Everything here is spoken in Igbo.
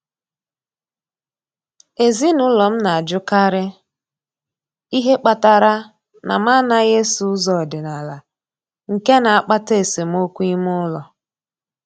Ezinụlọ m na-ajụkarị ihe kpatara na m anaghị eso ụzọ ọdịnala, nke na-akpata esemokwu ime ụlọ.